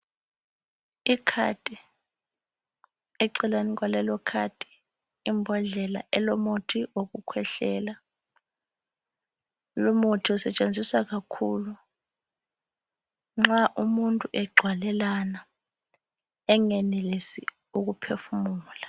Ikhadi. Eceleni kwalelokhadi kulembhodlela elomuthi wokukhwehlela. Umuthi usetshenziswa kakhulu nxa umuntu egcwalelana engenelisi ukuphefumula.